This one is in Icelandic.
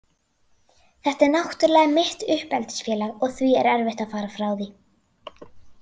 Þetta er náttúrlega mitt uppeldisfélag og því erfitt að fara frá því.